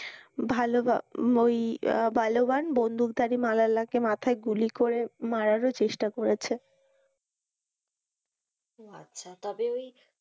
ভালো ওই পালোয়ান বন্দুক ধারী মালালাকে গুলি করে মারারও চেষ্টা করেছে ও আচ্ছা তবে ওই,